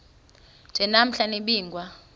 nje namhla nibingiwe